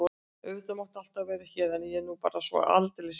Auðvitað máttu alltaf vera hér en ég er nú bara svo aldeilis hissa.